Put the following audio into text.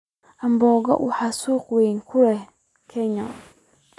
Boga waxa uu suuq weyn ku leeyahay Kenya.